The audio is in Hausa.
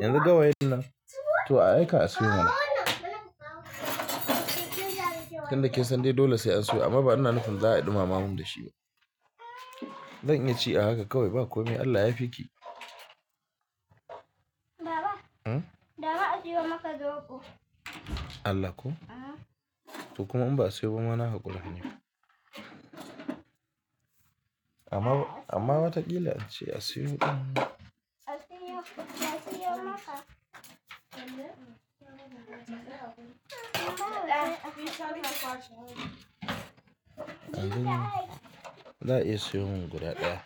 Yanzu gawa yin nan? To a aika a siyo mana. Tunda dai kinsan dai dole sai an siyo amma ba ina nufin za a ɗumama mun da shi ba. Zan iya ci a haka kawai ba kome. Allah ya fi ki. Baba a siyo maka zoɓo. Allah ko? To kuma in ba a siyo ba mana haƙuri ne. Amma watakila ace a siyo ɗan. A siyo maka. Za a iya siyo mun guda ɗaya.